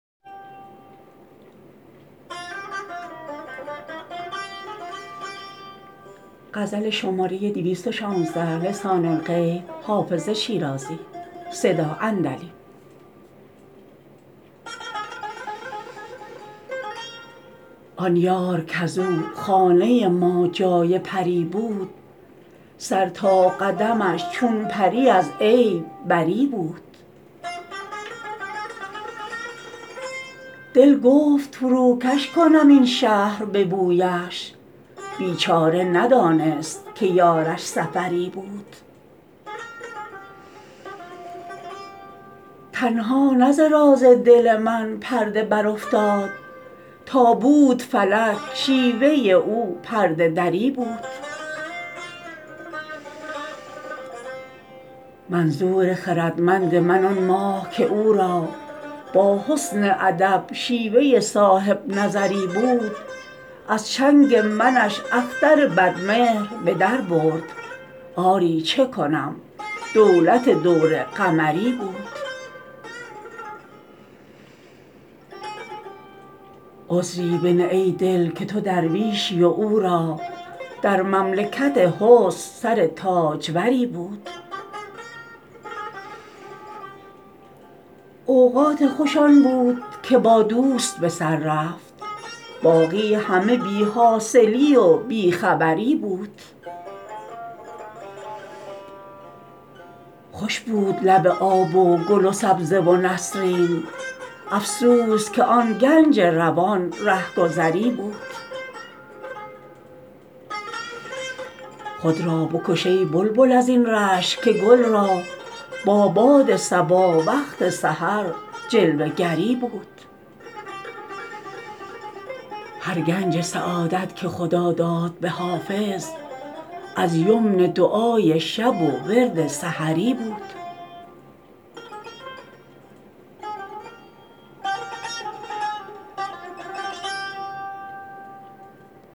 آن یار کز او خانه ما جای پری بود سر تا قدمش چون پری از عیب بری بود دل گفت فروکش کنم این شهر به بویش بیچاره ندانست که یارش سفری بود تنها نه ز راز دل من پرده برافتاد تا بود فلک شیوه او پرده دری بود منظور خردمند من آن ماه که او را با حسن ادب شیوه صاحب نظری بود از چنگ منش اختر بدمهر به در برد آری چه کنم دولت دور قمری بود عذری بنه ای دل که تو درویشی و او را در مملکت حسن سر تاجوری بود اوقات خوش آن بود که با دوست به سر رفت باقی همه بی حاصلی و بی خبری بود خوش بود لب آب و گل و سبزه و نسرین افسوس که آن گنج روان رهگذری بود خود را بکش ای بلبل از این رشک که گل را با باد صبا وقت سحر جلوه گری بود هر گنج سعادت که خدا داد به حافظ از یمن دعای شب و ورد سحری بود